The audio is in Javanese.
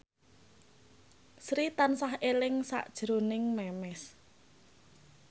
Sri tansah eling sakjroning Memes